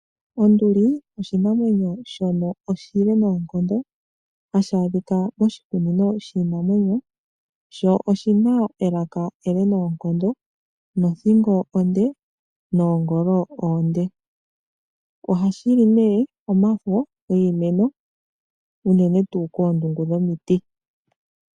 Onduli oshinamwenyo shono oshile noonkondo, hashi adhika moshikunino shiinamwenyo. Sho oshi na elaka ele noonkondo nothingo onde noongolo wo oonde , ohashi li nee omafo giimeno unene tuu koondungu dhomiti.